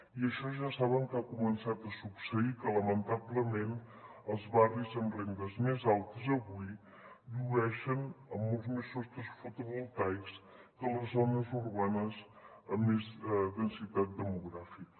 i això ja saben que ha començat a succeir que lamentablement els barris amb rendes més altes avui llueixen amb molts més sostres fotovoltaics que les zones urbanes amb més densitat demogràfica